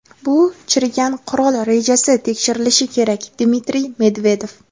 bu "chirigan qurol rejasi" tekshirilishi kerak – Dmitriy Medvedev.